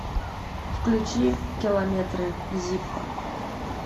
включи километры зиппо